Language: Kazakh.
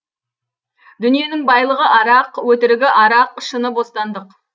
дүниенің байлығы арақ өтірігі арақ шыны бостандық